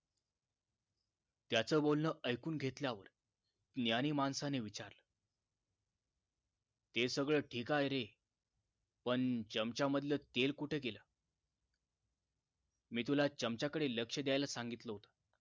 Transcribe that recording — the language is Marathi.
त्याच बोलणं ऐकून घेतल्यावर ज्ञानी माणसाने विचारलं हे सगळं ठीक आहे रे पण चमचामधलं तेल कुठे गेलं मी तुला चमच्याकडे लक्ष द्यायला सांगितलं होत